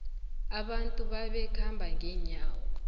abantu babekhamba ngenyawo